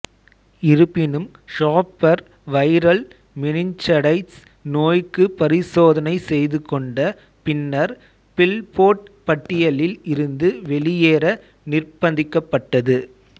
இருப்பினும் Shafer viral meningitis நோய்க்கு பரிசோதனை செய்துகொண்ட பின்னர் பில்போர்ட் பட்டியலில் இருந்து வெளியேற நிர்பந்திக்கப்பட்டது